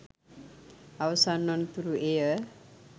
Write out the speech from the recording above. අවසන් වන තූරු එය